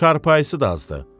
Çarpayısı da azdır.